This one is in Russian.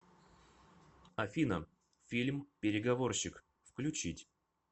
афина фильм переговорщик включить